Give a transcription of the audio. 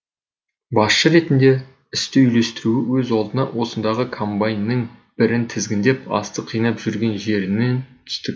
басшы ретінде істі үйлестіруі өз алдына осындағы комбайнның бірін тізгіндеп астық жинап жүрген жерінен түстік